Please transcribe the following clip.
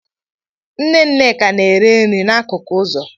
Nne Nneka na-ere nri n'akụkụ ụzọ